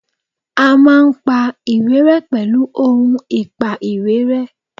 A máa pa ìwé ré pèlú ohun ìpa ìwé ré